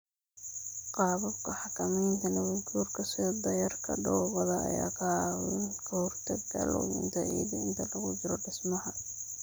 Qaababka xakamaynta nabaadguurka sida dayrarka dhoobada ayaa ka caawiya ka hortagga luminta ciidda inta lagu jiro dhismaha.